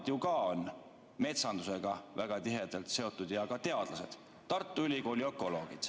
Nemad ju ka on metsandusega väga tihedalt seotud ja teadlased, Tartu Ülikooli ökoloogid.